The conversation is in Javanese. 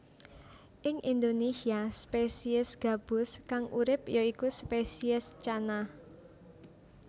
Ing Indonésia spesies gabus kang urip ya iku spesies Channa